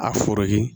A foro ye